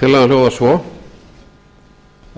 tillagan hljóðar svo